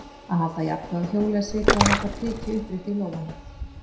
Að halda jafnvægi á hjóli er svipað og að halda priki uppréttu í lófanum.